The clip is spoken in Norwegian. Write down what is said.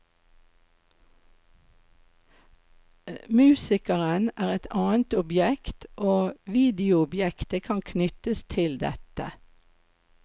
Musikeren er et annet objekt, og videoobjektet kan knyttes til dette.